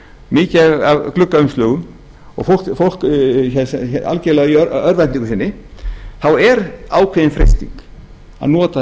mikið af gluggaumslögum og fólk algerlega í örvæntingu sinni þá er ákveðin freisting að nota